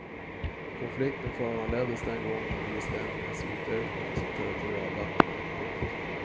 Konflikten föranleddes den gången av islänningarnas utökning av sitt territorialvatten. punkt